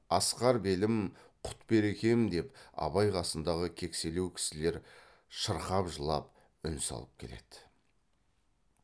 асқар белім құт берекем деп абай қасындағы кекселеу кісілер шырқап жылап үн салып келеді